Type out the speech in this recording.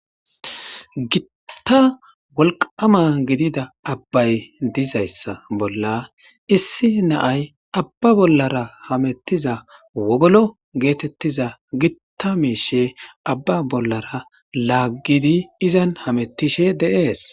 Gitta wolqama gidida abbay dizayssa bolla issi naay abba bollara hamettiza wogolo geetettiza gitta miishe abba bollara laaggidi izan hamettishe deees